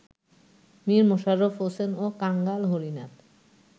মীর মশাররফ হোসেন ও কাঙ্গাল হরিনাথ